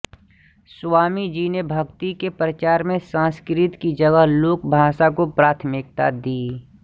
स्वामीजी ने भक्ति के प्रचार में संस्कृत की जगह लोकभाषा को प्राथमिकता दी